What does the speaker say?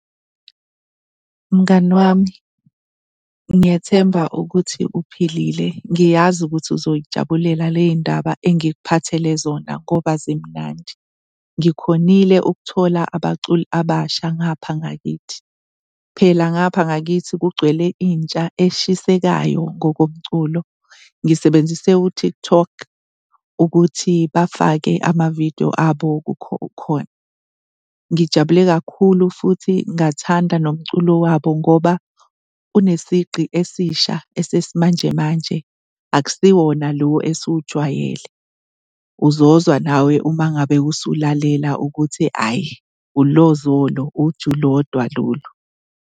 Mngani wami, ngiyathemba ukuthi uphilile. Ngiyazi ukuthi uzoy'jabulela le y'ndaba engikuphathele zona ngoba zimnandi. Ngikhonile ukuthola abaculi abasha ngapha ngakithi. Phela ngapha ngakithi kugcwele intsha eshisekayo ngokomculo. Ngisebenzise u-TikTok ukuthi bafake ama-video abo khona. Ngijabule kakhulu futhi ngathanda nomculo wabo ngoba unesigqi esisha esesimanjemanje, akusiwona lo esiwujwayele. Uzozwa nawe uma ngabe usulalela ukuthi ayi, ulozolo, uju lodwa lolu.